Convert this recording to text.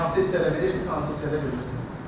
Hansı hissədə bilirsiniz, hansı hissədə bilmirsiniz?